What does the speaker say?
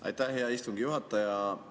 Aitäh, hea istungi juhataja!